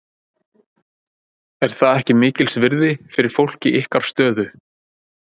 Er það ekki mikils virði fyrir fólk í ykkar stöðu?